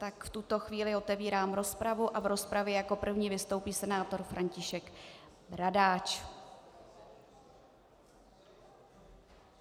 Tak v tuto chvíli otevírám rozpravu a v rozpravě jako první vystoupí senátor František Bradáč.